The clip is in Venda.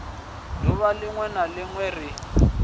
duvha linwe na linwe ri